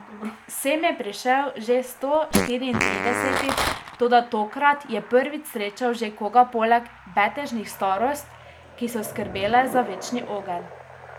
Sem je prišel že sto štiriintridesetič, toda tokrat je prvič srečal še koga poleg betežnih starost, ki so skrbele za večni ogenj.